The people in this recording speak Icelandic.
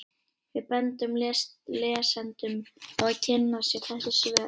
Við bendum lesendum á að kynna sér þessi svör.